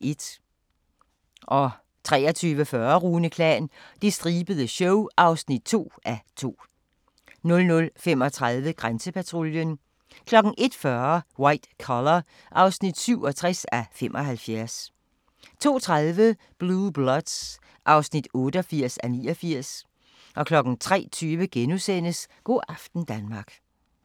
23:40: Rune Klan – Det stribede show (2:2) 00:35: Grænsepatruljen 01:40: White Collar (67:75) 02:30: Blue Bloods (88:89) 03:20: Go' aften Danmark *